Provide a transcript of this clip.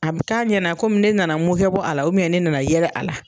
A be k'a ɲɛna ne nana n munke bɔ a la, ne nana yɛrɛ a la.